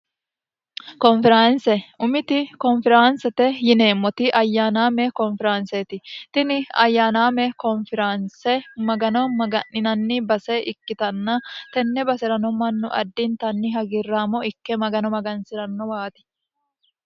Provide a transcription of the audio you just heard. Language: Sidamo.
konfiranse umiti konfiraansete yineemmoti ayyaanaamee konfiraanseeti tini ayyaanaamee konfiraanse magano maga'ninanni base ikkitanna tenne base'rano mannu addintanni hagiirraamo ikke magano magansi'rannowaati